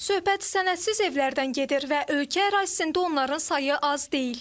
Söhbət sənədsiz evlərdən gedir və ölkə ərazisində onların sayı az deyil.